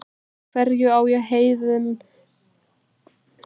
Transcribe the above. Hverju á ég þennan óvænta heiður að þakka?